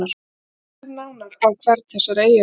Lítum nánar á hvern þessara eiginleika.